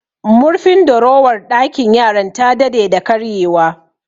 Murfin dorowar ɗakin yaran ta dade da karye wa